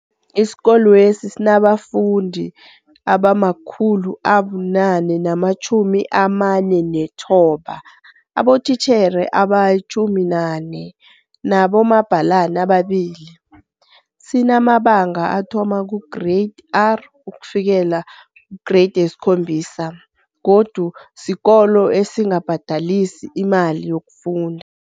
Isikolwesi sinabafundi abama-489, abotitjhere abali14, nabomabhalani ababili. Sinamabanga athoma kuGreyidi R ukufikela keye-7 godu sikolo esingabhadelisi imali yokufunda.